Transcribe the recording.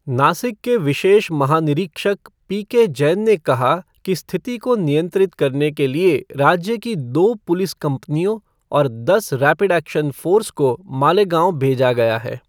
नासिक के विशेष महानिरीक्षक पीके जैन ने कहा कि स्थिति को नियंत्रित करने के लिए राज्य की दो पुलिस कंपनियों और दस रैपिड एक्शन फ़ोर्स को मालेगाँव भेजा गया है।